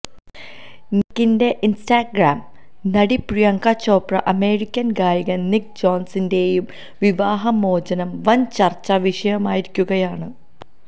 നിക്കിന്റെ Instagram നടി Priyanka Chopra American ഗായകൻ Nick ജോനാസിന്റേയും വിവാഹ മോചനം വൻ ചർച്ച വിഷയമായിരിക്കുകയാണ്